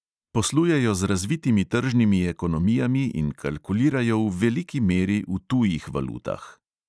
Poslujejo z razvitimi tržnimi ekonomijami in kalkulirajo v veliki meri v tujih valutah.